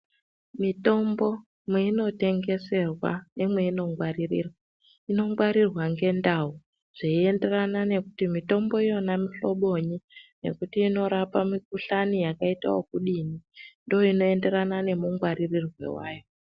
Mitombo mweinotengeserwa nemweinongwaririrwa, inongwarirwa ngendau zveienderana nekuti mitombo yona muhlobonyi nekuti inorapa mikuhlani yakaitawo kudini ndiyo inoendererana nemungwaririrwe wayo.